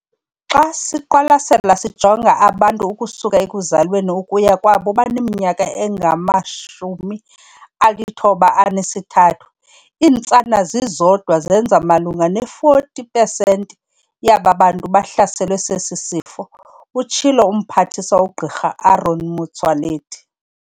"Xa siqwalaselisisa sijonga abantu ukusuka ekuzalweni ukuya kwabo baneminyaka engama-93, iintsana zizodwa zenza malunga ne-40 pesenti yaba bantu bahlaselwe sesi sifo," utshilo uMphathiswa uGq Aaron Motsoaledi.